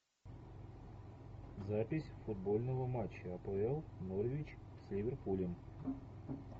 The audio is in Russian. запись футбольного матча апл норвич с ливерпулем